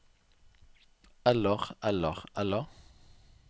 eller eller eller